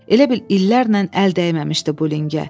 Elə bil illərlə əl dəyməmişdi bu lingə.